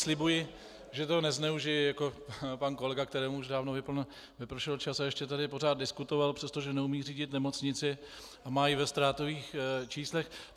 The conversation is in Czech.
Slibuji, že toho nezneužiji jako pan kolega, kterému už dávno vypršel čas a ještě tady pořád diskutoval, přestože neumí řídit nemocnici a má ji ve ztrátových číslech.